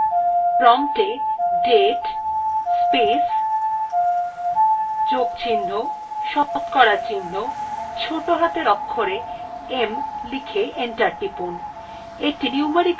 promptএ date space plus শতকরা চিহ্ন ছোটো হাতের অক্ষরে m লিখে enter টিপুন